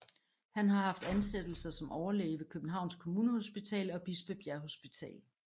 Han har haft ansættelser som overlæge ved Københavns Kommunehospital og Bispebjerg Hospital